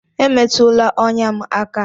Emetụla ọnya m aka!